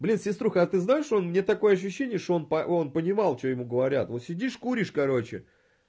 блин сеструха а ты знаешь что у меня такое ощущение что он он понимал что ему говорят вот сидишь куришь короче